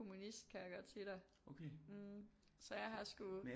Kommunist kan jeg godt sige dig hm så jeg har sgu